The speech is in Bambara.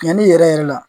Yanni yɛrɛ yɛrɛ la